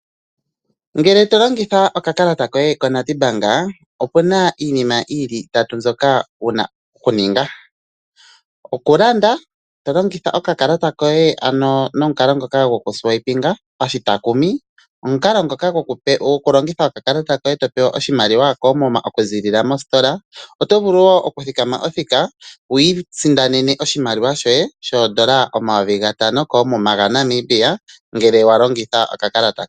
Ngele to longitha okakalata koye koNedbank, opu na iinima yi li itatu mbyoka wu na okuninga. Okulanda to longitha okakalata koye nomukalo ngoka to futu nokakalata, omukalo ngoka gokulogitha okakalata koye okupewa oshimaliwa koomuma okuziilila mositola, oto vulu wo okuthikama othika wi isindanene oshimaliwa shoye shooN$ 5000 koomuma, ngele wa longitha okakalata koye.